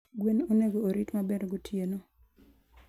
gwen onego orit maber gotieno.